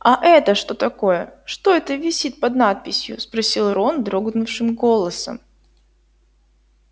а это что такое что это висит под надписью спросил рон дрогнувшим голосом